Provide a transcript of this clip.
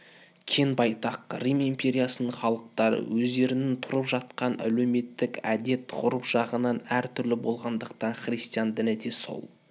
кең байтақ рим империясының халықтары өздерінің тұрып жатқан әлеуметтік әдет-ғұрып жағынан әр түрлі болғандықтан христиан діні де сол